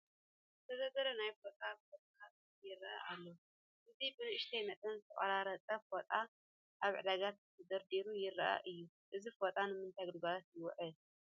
ዝተደርደረ ናይ ፎጣ ቁርፅራፅ ይርአ ኣሎ፡፡ እዚ ብንኡሽተይ መጠን ዝተቆራረፀ ፎጣ ኣብ ዕዳጋ ተደርዲሩ ይርአ እዩ፡፡ እዚ ፎጣ ንምንታይ ግልጋሎት ይውዕል?